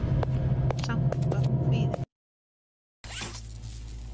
Samt var hún kvíðin.